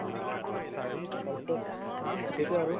তাৰপিছত সেইটোয়ে আৰু